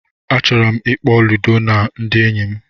Achọrọ m ịkpọ Ludo na ndị enyi m